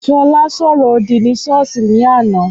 Ṣọlá ṣo ọrọ òdì ni ṣọ́ọ̀ṣì ní àná.